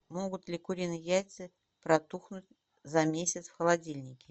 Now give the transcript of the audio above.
могут ли куриные яйца протухнуть за месяц в холодильнике